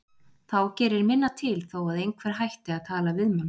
Þá gerir minna til þó að einhver hætti að tala við mann.